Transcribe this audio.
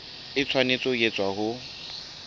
e tshwanetse ho etswa ho